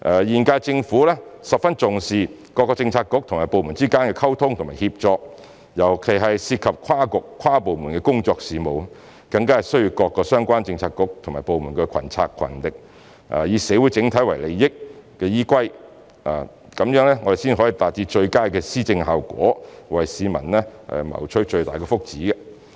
現屆政府十分重視各政策局和部門之間的溝通和協作，尤其是涉及跨局、跨部門的工作事務，更需要各相關政策局和部門群策群力，以社會整體利益為依歸，這樣才能達致最佳的施政效果，為市民謀取最大的福祉。